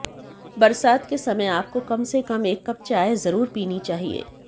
बरसात के समय आपको कम से कम एक कप चाय जरुर पीनी चाहिये